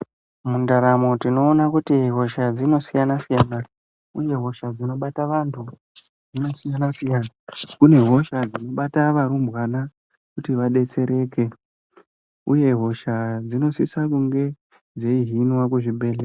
Mundaramo tinoona kuti hosha dzinosiyana siyana kune hosha ndinobata vantu vakasiyana siyana kune hosha dzinobata varumbwana kuti vabetsereke uye hoshadzinosise kunge dzeihinwa kuzvibhedhlera.